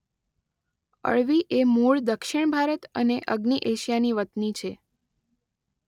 અળવી એ મૂળ દક્ષિણ ભારત અને અગ્નિ એશિયાની વતની છે.